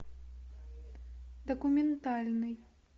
документальный